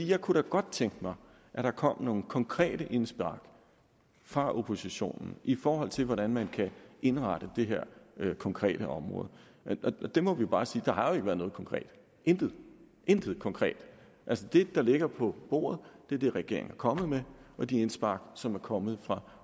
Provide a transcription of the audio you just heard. jeg kunne da godt tænke mig at der kom nogle konkrete indspark fra oppositionens i forhold til hvordan man kan indrette det her konkrete område der må vi bare sige at der har ikke været noget konkret intet intet konkret altså det der ligger på bordet er det regeringen er kommet med og de indspark som er kommet fra